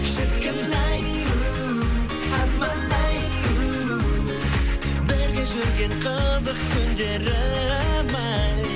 шіркін ай у арман ай у бірге жүрген қызық күндерім ай